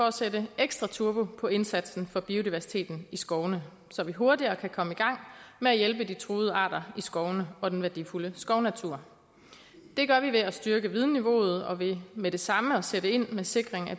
at sætte ekstra turbo på indsatsen for biodiversiteten i skovene så vi hurtigere kan komme i gang med at hjælpe de truede arter i skovene og den værdifulde skovnatur det gør vi ved at styrke vidensniveauet og ved med det samme at sætte ind med sikring af